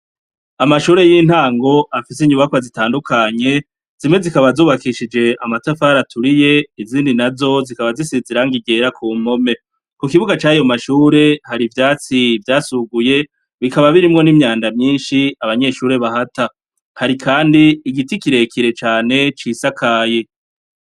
Amashure y'intango afise inyubakwa zitandukanye ,zimwe zikaba zubakishije amatafari aturiye izindi nazo zikaba zisize irangi ryera ku mpome . Ku kibuga c'ayo mashure hari ivyatsi vyasuguye bikaba birimwo n'imyanda myinshi abanyeshure bahata, hari Kandi igiti kirekire cane cisakaye.